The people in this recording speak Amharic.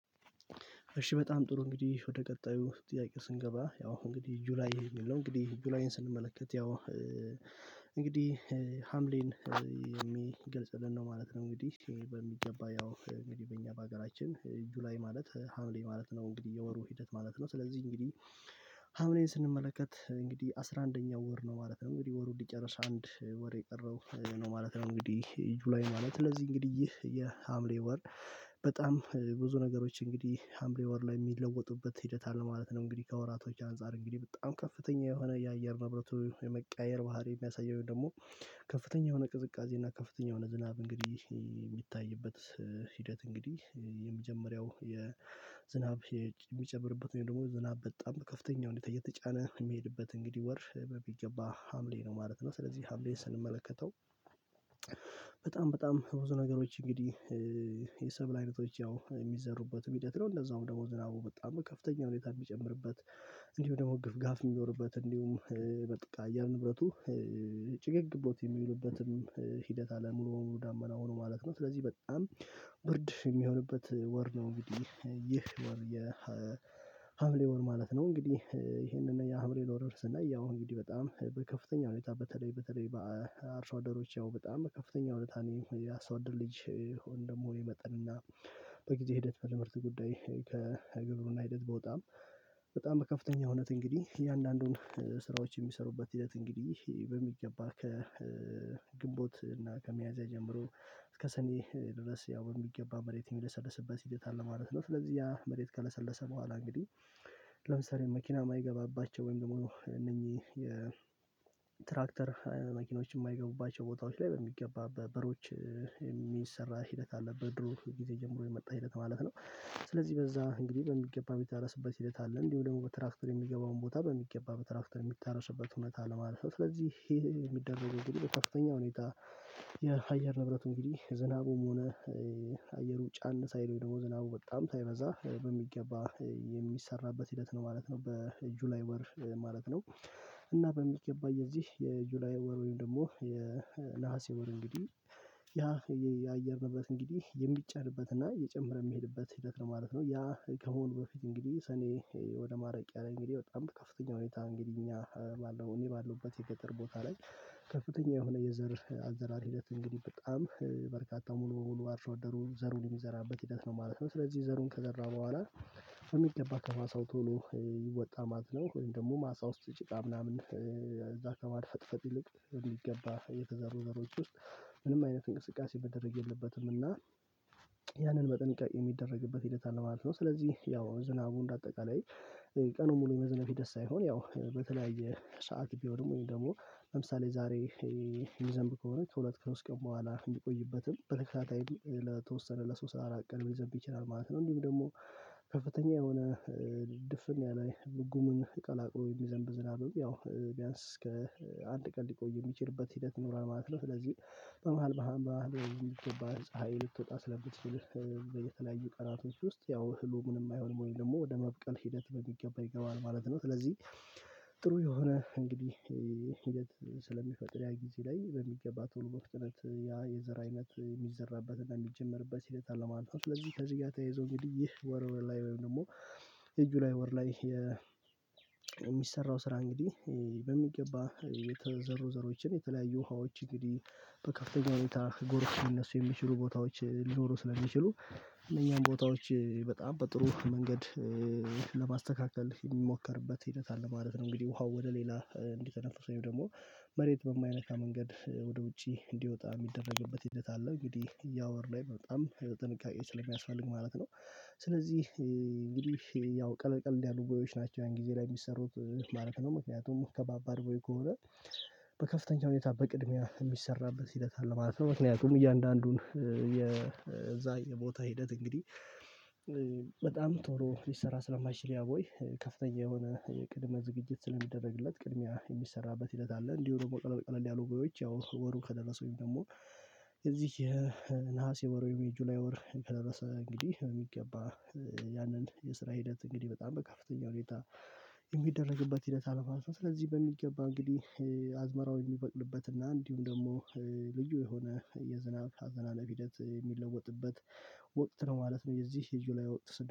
እሺ በጣም ጥሩ እንግዲህ ወደ ቀጣዩ ጥያቄ ስንገባ ያው አሁን እንግዲህ ጁላዬ የሚል ነው እንግዲህ ጁላዬን ስንመለከት ያው እንግዲህ ሀምሌን የሚገልጽልን ነው ማለት ነው። እንግዲህ በሚገባ ያው እንግዲህ በእኛ በሀገራችን ጁላይ ላይ ማለት ሀምሌ ማለት ነው እንግዲህ የወሩ ሂደት ማለት ነው። ስለዚህ እንግዲህ ሀምኔን ስንመለከት እንግዲህ አስራ አንደኛው ወር ነው ማለት ነው እንግዲህ ወሩን ሊጨረስ አንድ ወር የቀረው ነው ማለት ነው። እንግዲህ ጁላይ ማለት ለዚህ እንግዲህ የሀምሌ ወር በጣም ብዙ ነገሮች እንግዲህ ሀምሌ ወር ላይ የሚለወጡበት ሂደት አለ ማለት ነው። እንግዲህ ከወራቶች አንፃር እንግዲህ በጣም ከፍተኛ የሆነ የአየር ንብረቱ የመቀያየር ባህሪ የሚያሳይ ወይም ደግሞ ከፍተኛ የሆነ ቅዝቃዜ እና ከፍተኛ የሆነ ዝናብ እንግዲህ የሚታይበት ሂደት እንግዲህ የመጀመሪያው የዝናብ የሚጨምርበት ወይም ደግሞ ዝናብ በጣም በከፍተኛው ሁኔታ እየተጫነ የሚሄድበት እንግዲህ ወር በሚገባ ሀምሌ ነው ማለት ነው። ስለዚህ ሀምሌን ስንመለከተው በጣም በጣም ብዙ ነገሮች እንግዲህ የሰብል አይነቶች ያው የሚዘሩበትም ሂደት ነው እንደዛውም ደሞዝ ዝናቡ በጣም ከፍተኛ ሁኔታ የሚጨምርበት እንዲሁ ደግሞ ግፍጋፍ የሚኖርበት እንዲሁም የአየር ንብረቱ ጭገግ ብሎት የሚሉበትም ሂደት አለ ሙሉ በሙሉ ዳመና ሆኖ ማለት ነው። ስለዚህ በጣም ብርድ የሚሆንበት ወር ነው እንግዲህ ይህ ወር የሀምሌ ወር ማለት ነው። እንግዲህ ይሄንን የሀምሌን ወር ስናይ ያው እንግዲህ በጣም በከፍተኛ ሁኔታ በተለይ በተለይ በአርሶ አደሮች ያው በጣም በከፍተኛ እውነት ነው የአርሶ አደር ልጅ ወይም ደግሞ የመጠን እና በጊዜ ሂደት ወደ ምርት ጉዳይ ከግብሩና ሂደት በወጣም በጣም በከፍተኛ እውነት እንግዲህ የእያንዳንዱን ስራዎች የሚሰሩበት ሂደት እንግዲህ በሚገባ ከግንቦት እና ከሚያዝ ጀምሮ እስከ ሰኔ ድረስ ያው የሚገባ መሬት የሚሰርስበት ሂደት አለ ማለት ነው። ስለዚህ ያ መሬት ከለሰለሰ በኋላ እንግዲህ ለምሳሌ መኪና የማይገባባቸው ወይም ደግሞ እነኚህ የትራክተር መኪኖች የማይገቡባቸው ቦታዎች ላይ በሚገባ በበሮች የሚሰራ ሂደት አለበት በድሮ ጊዜ ጀምሮ የመጣ ሂደት ማለት ነው። ስለዚህ በዛ እንግዲህ በሚገባ በተረሰበት ሂደት አለ እንዲሁ ደግሞ በትራፍተር የሚገባውን ቦታ በሚገባ በትራፍተር የሚተስበት እውነት አለ ማለት ነው። ስለዚህ ይሄ የሚደረገው በከፍተኛ ሁኔታ የአየር ንብረት እንግዲህ ዝናቡም ሆነ አየሩ ጫን ሳይለው ወይም ደግሞ በጣም ሳይበዛ በሚገባ የሚሰራበት ሂደት ነው ማለት ነው። በጁላይ ወር ማለት ነው እና በሚገባ የዚህ የጁላይ ወር ወይም ደግሞ የነሀሴ ወር እንግዲህ ያ የአየር ንብረት እንግዲህ የሚጨርበትና እየጨመረ ምሄድበት ሕደት ነው ማለት ነው ያ ከሆነ በፊት እንግዲህ ሰኔ ወደ ማላቅያ ለይ እንግዲህ በጣም ከፍተኛ ሁኔታ እንግዲህ እኛ ባለው እኔ ባለውበት የቀጠር ቦታ ላይ ከፍተኛ የሆነ የዘር አዘራር ሂደት እንግዲህ በጣም በርካታ ሙሉ በሙሉ አርሶ አደሩ ዘሩን የሚዘራበት ሂደት ነው ማለት ነው። ስለዚህ ዘሩን ከዘራው በኋላ የሚገባ ከማሳው ቶሎ ይወጣ ማለት ነው ወይም ደግሞ ማሳ ውስጥ ጭቃ ምናምን እዛ ከማድፈጥፈጥ ይልቅ የሚገባ የተዘሩ ዘሮች ውስጥ ምንም አይነት እንቅስቃሴ ማደረግ የለበትም እና ያንን በጥንቃቄ የሚደረግበት ሂደት አለ ማለት ነው። ስለዚህ ያው ዝናቡን እንደ አጠቃላይ ቀኑን ሙሉ የመዝነብ ሕደት ሳይሆን ያው በተለያየ ሰዓት ቢሆንም ወይም ደግሞ ለምሳሌ ዛሬ ምዘንብ ከሆነ ከሁለት ከሶስት ቀን በኋላ እንዲቆይበትም በትክክል ለተወሰነ ለሶስት አራት ቀን ልዘንብ ይችላል ማለት እንዲሁም ደግሞ ከፍተኛ የሆነ ድፍን ያለ ጉምን ቀላቅሎ የሚዘንብ ዝናብ ያው ቢያንስ እስከ አንድ ቀን ሊቆይ የሚችልበት ሂደት ይኖራል ማለት ነው። ስለዚህ በመሃል በመሃል በመሃል ትወጣ ፀሀይ ልትወጣ ስለምትችል በየተለያዩ ቀናቶች ውስጥ ያው እህሉ ምንም አይሆንም ወይም ደግሞ ወደ መብቀል ሂደት በሚገባ ይገባል ማለት ነው። ስለዚህ ጥሩ የሆነ እንግዲህ ሂደት ስለሚፈጥር ያ ጊዜ ላይ በሚገባ ቶሎ በፍጥነት ያ የዘር አይነት የሚዘራበትን የሚጀመርበት ሂደት አለ ማለት ነው። ስለዚህ ከዚህ ጋር ተያይዞ እንግዲህ ይህ ወር ላይ ወይም ደግሞ የጁላይ ወር ላይ የሚሰራው ስራ እንግዲህ በሚገባ የተዘሩ ዘሮችን የተለያዩ ውሃዎች እንግዲህ በከፍተኛ ሁኔታ ጎርፍ ሊነሱ የሚችሉ ቦታዎች ሊኖሩ ስለሚችሉ እነዚህን ቦታዎች በጣም በጥሩ መንገድ ለማስተካከል የሚሞከርበት ሂደት አለ ማለት ነው። እንግዲህ ውሃው ወደ ሌላ እንዲተነፈሱ ወይም ደግሞ መሬት በማያነካ መንገድ ወደ ውጪ እንዲወጣ የሚደረግበት ሂደት አለ እንግዲህ ያወር ላይ በጣም ጥንቃቄ ስለሚያስፈልግ ማለት ነው። ስለዚህ እንግዲህ ያው ቀለቀል ያሉ ጎዮች ናቸው ያን ጊዜ ላይ የሚሰሩት ማለት ነው። ምክንያቱም ከባባድ ጎረ ከሆነ በከፍተኛ ሁኔታ በቅድሚያ የሚሰራበት ሂደት አለ ማለት ነው። ምክንያቱም እያንዳንዱን የዛ የቦታ ሂደት እንግዲህ በጣም ቶሎ ሊሰራ ስለማይችል ያ ቦይ ከፍተኛ የሆነ ቅድመ ዝግጅት ስለሚደረግለት ቅድሚያ የሚሰራበት ሕደት አለ። እንዲሁ ደግሞ ቀለል ቀለል ያሉ ጎዮች ያው ወሩ ከደረሱኝ ወይም ደግሞ የዚህ የነሐሴ ወር ወይም የጁላይ ወር ከደረሰ እንግዲህ የሚገባ ያንን የስራ ሂደት እንግዲህ በጣም በከፍተኛ ሁኔታ የሚደረግበት ሂደት አለ ማለት ነው። ስለዚህ በሚገባ እንግዲህ አዝመራውን የሚበቅልበት እና እንዲሁም ደግሞ ልጁ የሆነ የዝናብ አዘናነብ ሕደት የሚለወጥበት ወቅት ነው ማለት ነው። የዚህ የጁላይ ወቅት